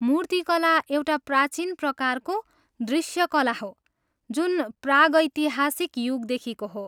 मूर्तिकला एउटा प्राचीन प्रकारको दृश्य कला हो जुन प्रागैतिहासिक युगदेखिको हो।